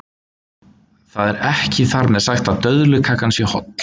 Það er ekki þar með sagt að döðlukakan sé holl.